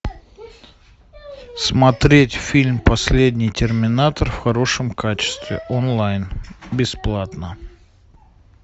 смотреть фильм последний терминатор в хорошем качестве онлайн бесплатно